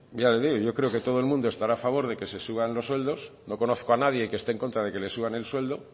ya le digo yo creo que todo el mundo estará a favor de que se suban los sueldos no conozco a nadie que esté en contra de que le suban el sueldo